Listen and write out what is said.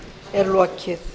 er lokið